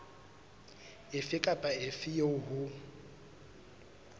efe kapa efe eo ho